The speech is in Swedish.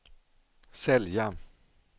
sälja